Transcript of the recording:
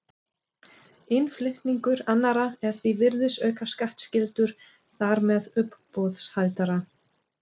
Innflutningur annarra er því virðisaukaskattskyldur þar með uppboðshaldara.